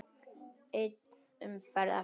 Ein umferð eftir.